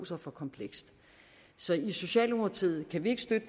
sig for komplekst så i socialdemokratiet kan vi ikke støtte